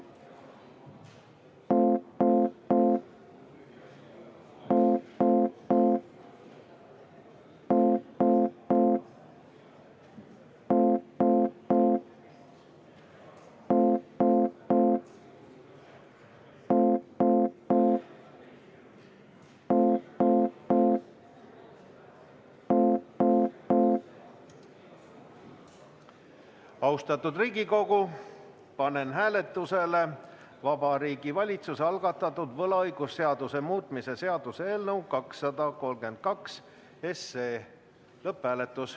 Austatud Riigikogu, panen hääletusele Vabariigi Valitsuse algatatud võlaõigusseaduse muutmise seaduse eelnõu 232.